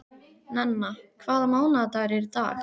Nenna, hvaða mánaðardagur er í dag?